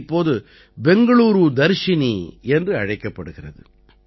இது இப்போது பெங்களூரு தர்ஷினி என்று அழைக்கப்படுகிறது